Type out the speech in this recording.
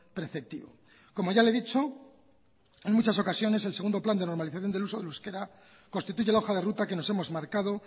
preceptivo como ya le he dicho en muchas ocasiones el segundo plan de normalización del uso del euskera constituye la hoja de ruta que nos hemos marcado